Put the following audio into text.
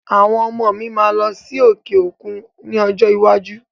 Àwọn ọmọ mi máa lọ sí òkè òkú ní ọjọ́ iwájú